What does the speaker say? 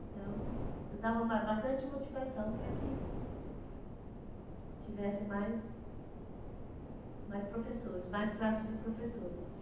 Então, eu dava ma bastante motivação para que tivesse mais mais professores, mais classe de professores. Então